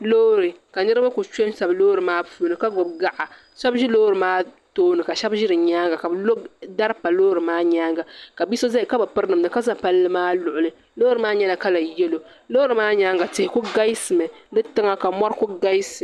Loori ka niriba kuli kpenshebsi loori maa puuni ka gbibi gaɣa sheba ʒi loori maa tooni ka sheba ʒi di nyaanga ka bɛ lo dari pa loori maa nyaanga ka bia so zaya ka bi piri namda ka za palli maa luɣuli loori maa nyɛla kala yelo loori maa nyaanga tihi kuli galisimi di tiŋa ka mori kuli galisi.